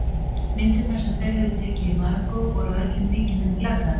Myndirnar sem þau höfðu tekið í Marokkó voru að öllum líkindum glataðar.